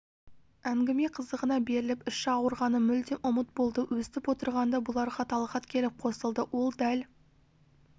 әңгіме қызығына беріліп іші ауырғаны мүлдем ұмыт болды өстіп отырғанда бұларға талғат келіп қосылды ол дәл